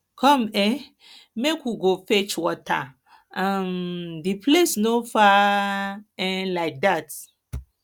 come um make we go fetch water um the place no far um like dat